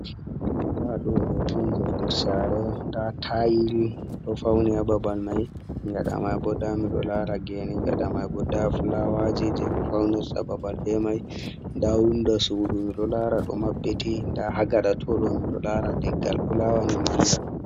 Nda ɗo hoto, onje nder sare, nda tayil ɗo fauni hababal mai gaɗa maibo nda miɗo lara gene, gaɗa maibo nda fulawaji jeɓe fawnirta babal be mai, nda wundo sudu ɗo lara ɗo maɓɓiti, nda hagaɗa toɗo miɗo lara leggal fulawani manga.